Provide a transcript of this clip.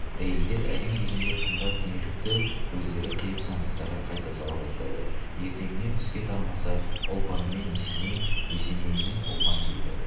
әйелдер әрең дегенде қымбат дүниелікті көздері қиып сандықтарға қайта сала бастады ертеңіне түске тармаса ұлпанымен есеней есенейімен ұлпан келді